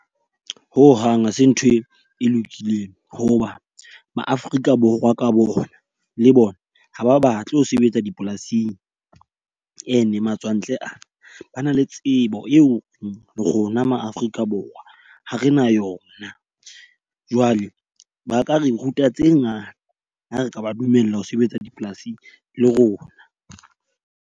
Ho hang ha se ntho e lokileng. Ho ba ma Afrika Borwa ka bona, le bona ha ba batle ho sebetsa dipolasing. E ne matswantle aa, ba na le tsebo eo rona ma Afrika Borwa ha re na yona. Jwale ba ka re ruta tse ngata ha re ka ba dumella ho sebetsa dipolasing le rona.